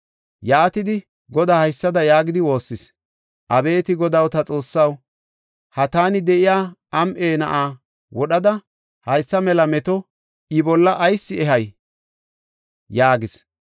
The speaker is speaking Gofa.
Yaatidi Godaako haysada yaagidi waassis; “Abeeti Godaw, ta Xoossaw, ha taani de7iya am7e na7aa wodhada, haysa mela meto I bolla ayis ehay?” yaagis.